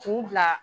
K'u bila